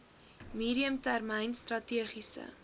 medium termyn strategiese